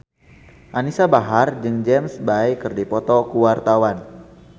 Anisa Bahar jeung James Bay keur dipoto ku wartawan